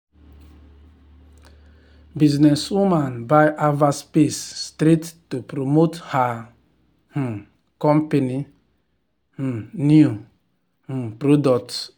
businesswoman buy advert space straight to promote her um company um new um product.